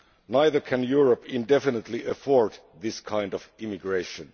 neither can Europe indefinitely afford this kind of immigration.